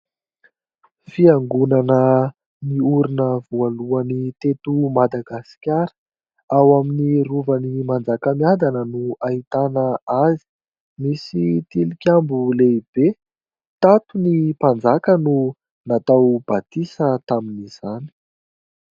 Fiangonana niorina voalohany teto Madagasikara, ao amin'ny rovan'i Manjakamiadana no ahitana azy, misy tilikambo lehibe ; tato ny mpanjaka no natao batisa tamin'izany.